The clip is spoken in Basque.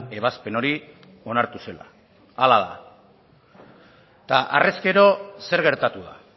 ebazpen hori onartu zela hala da eta harrezkero zer gertatu da